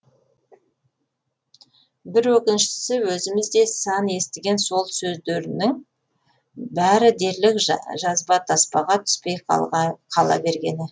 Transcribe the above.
бір өкініштісі өзіміз де сан естіген сол сөздерінің бәрі дерлік жазба таспаға түспей қала бергені